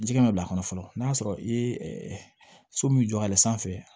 Jɛgɛ bɛ bila a kɔnɔ fɔlɔ n'a sɔrɔ i ye so min jɔ ale sanfɛ